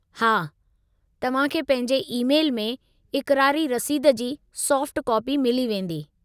हा, तव्हां खे पंहिंजे ई-मैल में इक़रारी रसीद जी सॉफ़्ट कापी मिली वेंदी।